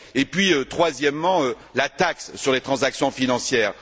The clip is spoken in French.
Puis, troisièmement, la taxe sur les transactions financières.